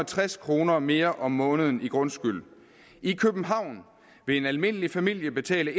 tres kroner mere om måneden i grundskyld i københavn vil en almindelig familie betale